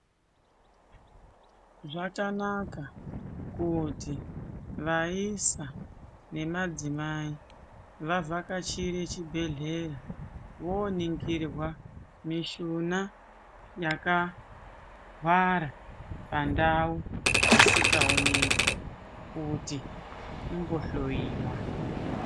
Zvakanaka kuti vaisa vemadzimai vavhakachire chibhehlera voningirwa neshona yakangwara pandau dzisingaoneki kuti imbohloyiwa.